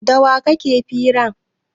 Da wa kake fira?